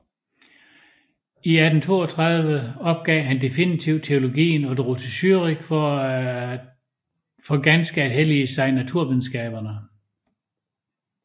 I 1832 opgav han definitivt teologien og drog til Zürich for ganske at hellige sig naturvidenskaberne